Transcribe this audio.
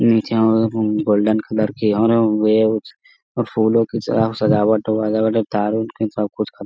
नीचे और हैं रूम गोल्डन कलर की और उ वे कुछ फूलों की सजाव सजावट वजावट वैगरह तार-उर की सब कुछ ख --